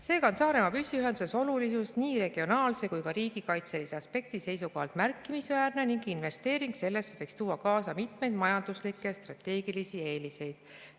Seega on Saaremaa püsiühenduse olulisus nii regionaalse kui ka riigikaitselise aspekti seisukohalt märkimisväärne ning investeering sellesse võiks tuua kaasa mitmeid majanduslikke ja strateegilisi eeliseid.